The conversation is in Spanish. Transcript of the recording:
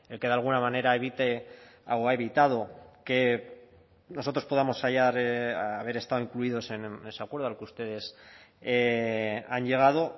que de alguna manera evite o ha evitado que nosotros podamos haber estado incluidos en ese acuerdo al que ustedes han llegado